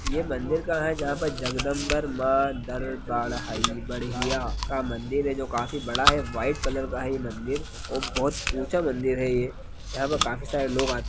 यह मंदिर कहाँ है जहाँ पर जगदम्बर मा दरबार है बड़िया का मंदिर है जो काफी बड़ा है व्हाइट कलर का है यह मंदिर और बहुत ऊँचा है यह मंदिर यहाँ पर काफी सारे लोग आते--